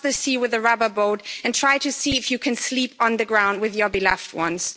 Cross the sea with a rubber boat and try to see if you can sleep on the ground with your beloved ones.